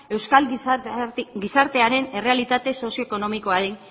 euskal gizartearen errealitate sozioekonomikoari